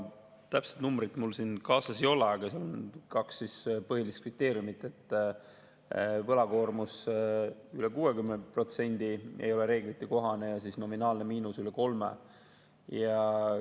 Täpset numbrit mul kaasas ei ole, aga on kaks põhilist kriteeriumit: võlakoormus üle 60% ja nominaalne miinus üle 3 ei ole reeglitekohane.